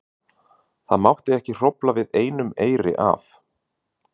Það mátti ekki hrófla við einum eyri af